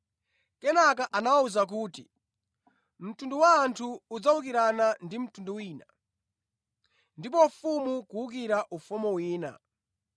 Kenaka anawawuza kuti, “Mtundu wa anthu udzawukirana ndi mtundu wina, ndi ufumu kuwukira ufumu wina.